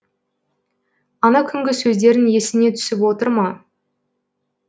ана күнгі сөздерің есіңе түсіп отыр ма